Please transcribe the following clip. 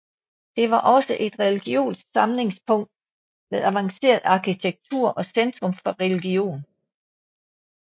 Det var også et religiøst samlingspunkt med avanceret arkitektur og centrum for religion